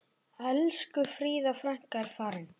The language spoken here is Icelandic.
Elsku Fríða frænka er farin.